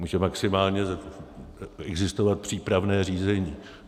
Může maximálně existovat přípravné řízení.